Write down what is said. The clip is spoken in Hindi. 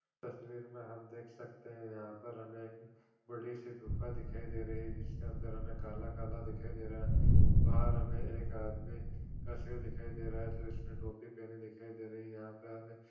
तस्वीर मे हम देख सकते हैं यहाँ पर हमे एक बड़ी सी गुफा दिखाई दे रही है जिसके अंदर हमे काला काला दिखाई रहा बाहर हमे एक आदमी का सिर दिखाई दे रहा है जिसने टोपी पहनी दिखाई दे रही है यहाँ पे हमे--